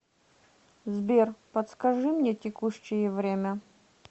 сбер подскажи мне текущее время